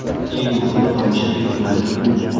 Eng muhimi, tomoshabin qo‘lida pult bor.